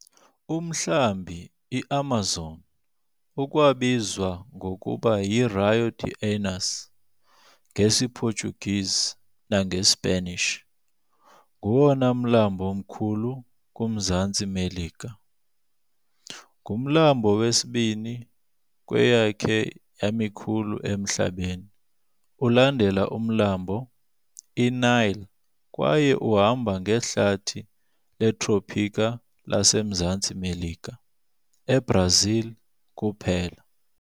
Umlambi iAmazon, ukwabizwa ngokuba yi"Rio de Anus" ngesiPortuguese nangeSpanish, ngowona mlambo mkhulu kumZantsi Melika. Ngumlambo wesibini kweyakhe yamikhulu emhlabeni ulandela umlambo iNile kwaye uhamba ngehlathi letrophika lasemZantsi Melika, eBrazil kuphela.